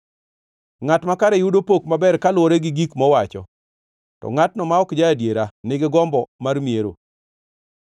Ngʼat makare yudo pok maber kaluwore gi gik mowacho, to ngʼatno ma ok ja-adiera nigi gombo mar miero.